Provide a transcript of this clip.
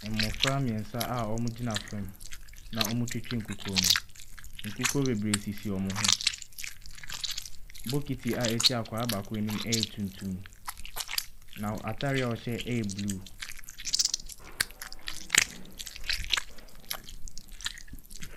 Mmɔfra mmiɛnsa a wɔn gyina fam na wɔn retwitwi nkukuo mu. Nkukuo bebree sisi wɔn ho. Bokiti a ɛsi akɔdaa baako anim ɛyɛ tuntum na wɔn ataare a wɔn hyɛ ɛyɛ bluu.